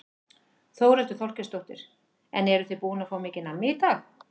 Þórhildur Þorkelsdóttir: En eruð þið búin að fá mikið nammi í dag?